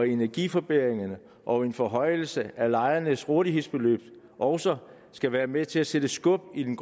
energiforbedringer og en forhøjelse af lejernes rådighedsbeløb også skal være med til at sætte skub i den